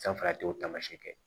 Sanfɛra a t'o taamasiyɛn kɛ